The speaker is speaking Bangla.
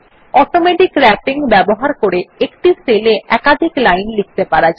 অটোমেটিক র্যাপিং ব্যবহার করে একটি সেলে একাধিক লাইন লিখতে পারা যায়